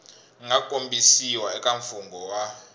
nga kombisiwa eka mfungho wu